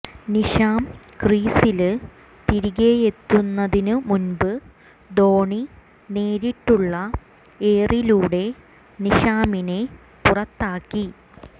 Neesham ക്രീസില് തിരികെയെത്തുന്നതിന് മുന്പ് ധോണി നേരിട്ടുള്ള ഏറിലൂടെ നീഷാമിനെ പുറത്താക്കി